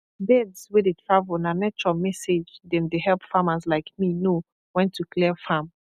birds wey dey travel na nature message dem dey help farmers like me know when to clear farm